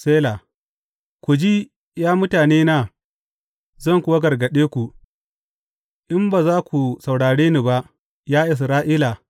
Sela Ku ji, ya mutanena, zan kuwa gargaɗe ku, in ba za ku saurare ni ba, ya Isra’ila!